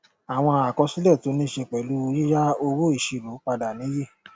àwọn àkọsílẹ tó ní í ṣe pẹlú yíya owóìṣírò padà nìyí